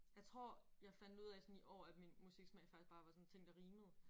Jeg tror jeg fandt ud af sådan i år at min musiksmag faktisk bare var sådan ting der rimede